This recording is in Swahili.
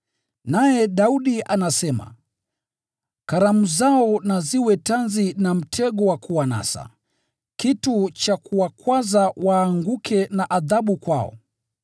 Naye Daudi anasema: “Karamu zao na ziwe tanzi na mtego wa kuwanasa, kitu cha kuwakwaza waanguke, na adhabu kwao.